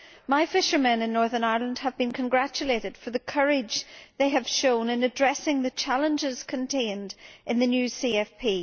My fishermen in Northern Ireland have been congratulated for the courage they have shown in addressing the challenges contained in the new CFP.